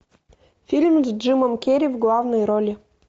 фильм с джимом керри в главной роли